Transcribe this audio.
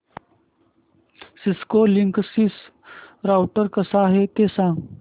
Cisco Linksys router कसा आहे ते सांग